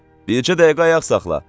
Bircə dəqiqə ayaq saxla.